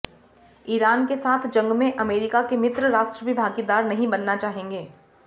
Iran के साथ जंग में अमेरिका के मित्र राष्ट्र भी भागीदार नहीं बनना चाहेंगे